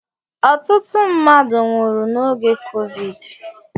Ọtụtụ mmadụ nwụrụ n'oge Covid